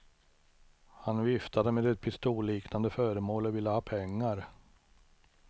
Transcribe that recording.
Han viftade med ett pistolliknande föremål och ville ha pengar.